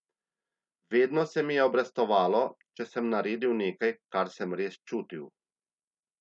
Vedno se mi je obrestovalo, če sem naredil nekaj, kar sem res čutil.